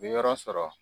Bi yɔrɔ sɔrɔ